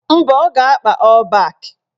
Mba, ọ ga-akpa ọ́ọ̀ bak